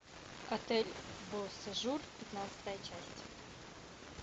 отель бо сежур пятнадцатая часть